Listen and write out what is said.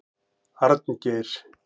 Arngeir